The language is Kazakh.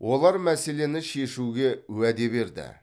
олар мәселені шешуге уәде берді